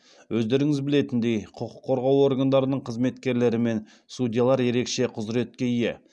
өздеріңіз білетіндей құқық қорғау органдарының қызметкерлері мен судьялар ерекше құзыретке ие